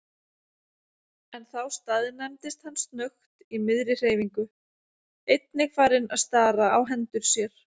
En þá staðnæmdist hann snöggt í miðri hreyfingu, einnig farinn að stara á hendur sér.